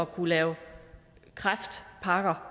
kunne lave kræftpakker